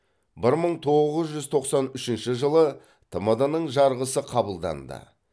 бір мың тоғыз жүз тоқсан үшінші жылы тмд ның жарғысы қабылданды